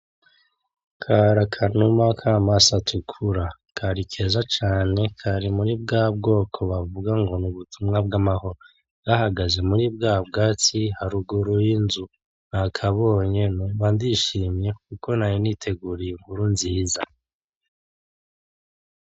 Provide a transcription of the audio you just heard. Karakanuma kamaso atukura kari keza cane kari muri bwabwoko bavuga ngo nubutuma bwamahoro gahagaze muribwatsi haruguru y’inzu nakabonye numva ndishimye kuko nari niteguriye inkuru nziza